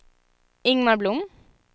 Ingmar Blom